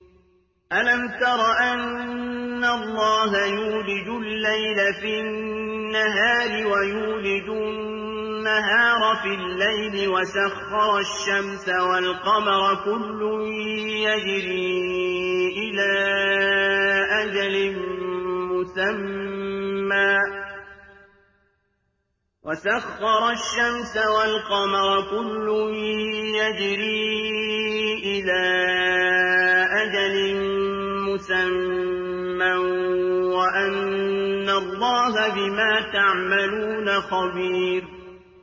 أَلَمْ تَرَ أَنَّ اللَّهَ يُولِجُ اللَّيْلَ فِي النَّهَارِ وَيُولِجُ النَّهَارَ فِي اللَّيْلِ وَسَخَّرَ الشَّمْسَ وَالْقَمَرَ كُلٌّ يَجْرِي إِلَىٰ أَجَلٍ مُّسَمًّى وَأَنَّ اللَّهَ بِمَا تَعْمَلُونَ خَبِيرٌ